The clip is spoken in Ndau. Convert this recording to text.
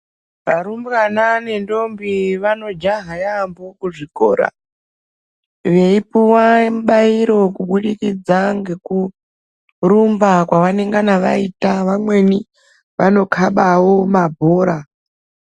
Varumbwana nendombi vanojaha yaambo kuzvikora. Veipuva mubairo kubudikidza ngekurumba kwavanengana vaita kumweni vanokabavo mabhora.